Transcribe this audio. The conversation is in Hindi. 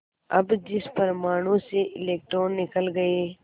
अब जिस परमाणु से इलेक्ट्रॉन निकल गए